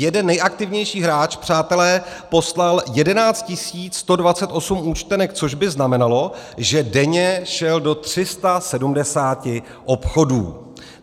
Jeden nejaktivnější hráč, přátelé, poslal 11 128 účtenek, což by znamenalo, že denně šel do 370 obchodů.